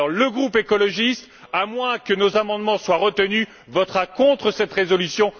Le groupe écologiste, à moins que nos amendements soient retenus, votera contre cette résolution.